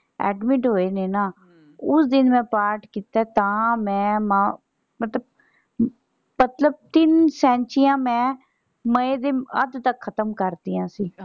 Admit ਹੋਏ ਹੀ ਨਾ ਉਸ ਦਿਨ ਦਾ ਪਾਠ ਕੀਤਾ ਤਾਂ ਮੈਂ ਮਾਂ ਤਿੰਨ ਸੈਂਚੀਆਂ ਮੈਂ ਮਏ ਦੇ ਅੱਧ ਤੱਕ ਖਤਮ ਕਰਤੀਆਂ ਸੀ।